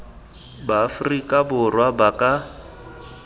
ba aforika borwa ba ka